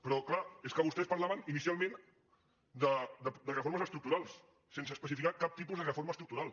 però és clar és que vostès parlaven inicialment de reformes estructurals sense especificar cap tipus de reforma estructural